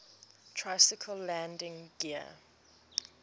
tricycle landing gear